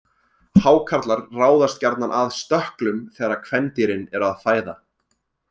Hákarlar ráðast gjarnan að stökklum þegar kvendýrin eru að fæða.